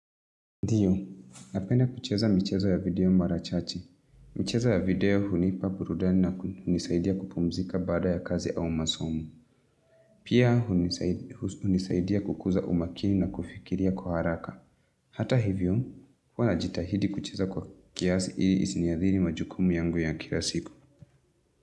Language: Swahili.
Ndiyo, napenda kucheza michezo ya video mara chache. Michezo ya video hunipa burudani nakunisaidia kupumzika baada ya kazi au masomo. Pia, hunisaidia kukuza umakini na kufikiria kwa haraka. Hata hivyo, huwa najitahidi kucheza kwa kiasi ili isiniadhiri majukumu yangu ya kila siku.